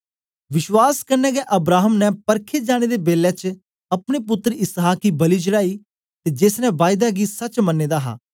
विश्वास कन्ने गै अब्राहम ने परखे जाने दे बेलै च अपने पुत्तर इसहाक गी बलि चढ़ाई ते जेस ने बायदा गी सच्च मन्ने दा हा